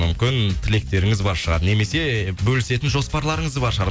мүмкін тілектеріңіз бар шығар немесе бөлісетін жоспарларыңыз бар шығар